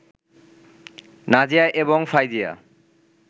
নাজিয়া এবং ফাইজিয়া